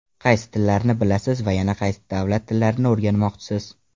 Qaysi tillarni bilasiz va yana qaysi davlat tillarini o‘rganmoqchisiz?